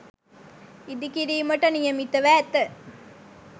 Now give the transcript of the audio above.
ඉදිකිරීමට නියමිතව ඇත.